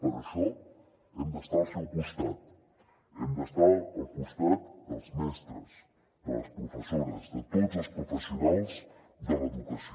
per això hem d’estar al seu costat hem d’estar al costat dels mestres de les professores de tots els professionals de l’educació